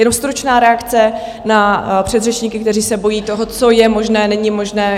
Jenom stručná reakce na předřečníky, kteří se bojí toho, co je možné, není možné.